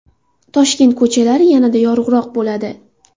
Toshkent ko‘chalari yanada yorug‘roq bo‘ladi.